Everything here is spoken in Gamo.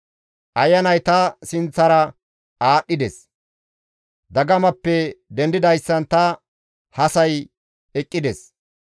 Ayanay ta sinththara aadhdhides; dagamappe dendidayssan ta hasay eqqides.